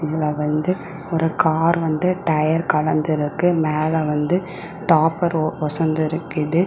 இதுல வந்து ஒரு கார் வந்து டயர் கலன்டிருக்கு மேல வந்து டாப்பர் ஒ ஒசந்து இருக்குது.